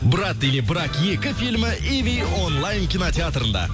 брат или брак екі фильмі иви онлайн кинотеатрында